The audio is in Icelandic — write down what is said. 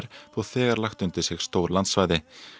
þó þegar lagt undir sig stór landsvæði